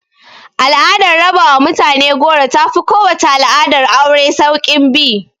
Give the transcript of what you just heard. Al'adar raba wa mutane goro ta fi kowace al'adar aure sauƙin bi